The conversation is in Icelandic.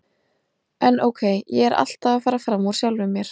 En ókei, ég er alltaf að fara fram úr sjálfum mér.